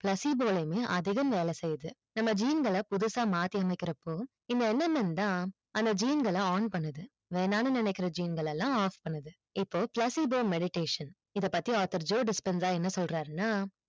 ஆகிட்டா எப்பிடி செய்யல் படும் கண்டிப்பா செய்யல் படாது so இந்த mmn கிருமிகள் தான் அதிகம் வேலை செய்யுது ஜீன்கள பபுதுசா மாத்தி அமைகரப்போ இந்த mmn தான் ஜீன்கள on பண்ணுது வேணான்னு நெனைக்குற ஜீன்களளாம் off பண்ணுது இப்போ c laffidone meditation இத பத்தி author என்ன சொல்றார்னா